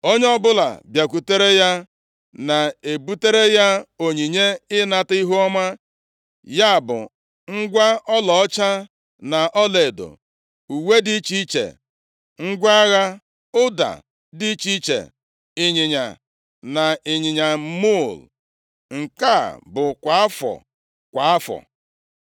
Onye ọbụla bịakwutere ya na-ebutere ya onyinye ịnata ihuọma, ya bụ ngwa ọlaọcha na ọlaedo, uwe dị iche iche, ngwa agha, ụda dị iche iche, ịnyịnya na ịnyịnya muul, nke a bụ kwa afọ, kwa afọ.